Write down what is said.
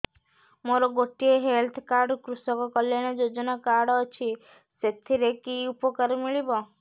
ମୋର ଗୋଟିଏ health card କୃଷକ କଲ୍ୟାଣ ଯୋଜନା କାର୍ଡ ଅଛି ସାଥିରେ କି ଉପକାର ମିଳିବ